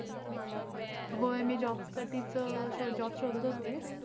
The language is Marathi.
होय मी job साठीच अं job चं शोधत होते.